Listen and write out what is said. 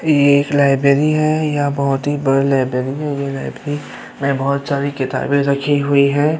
ये एक लाइब्रेरी है यह बोहोत ही बड़ी लाइब्रेरी है। ये लाइब्रेरी में बोहोत सारी किताबे रखी हुई हैं।